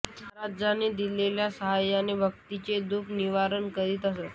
महाराजांनी दिलेल्या शक्तीच्या साहाय्याने भक्तांचे दुख निवारण करीत असत